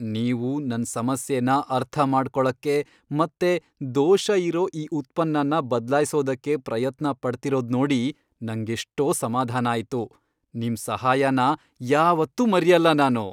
ನೀವು ನನ್ ಸಮಸ್ಯೆನ ಅರ್ಥಮಾಡ್ಕೊಳಕ್ಕೆ ಮತ್ತೆ ದೋಷ ಇರೋ ಈ ಉತ್ಪನ್ನನ ಬದ್ಲಾಯ್ಸೊದಕ್ಕೆ ಪ್ರಯತ್ನ ಪಡ್ತಿರೋದ್ನೋಡಿ ನಂಗೆಷ್ಟೋ ಸಮಾಧಾನ ಆಯ್ತು, ನಿಮ್ ಸಹಾಯನ ಯಾವತ್ತೂ ಮರ್ಯಲ್ಲ ನಾನು.